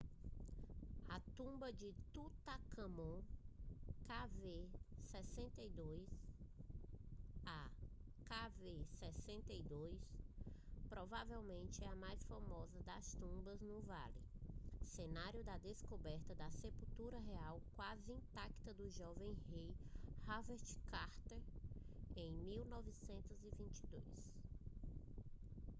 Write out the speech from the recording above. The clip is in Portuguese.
a tumba de tutancâmon kv62. a kv62 provavelmente é a mais famosa das tumbas no vale cenário da descoberta da sepultura real quase intacta do jovem rei por howard carter em 1922